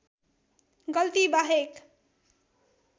गल्ती बाहेक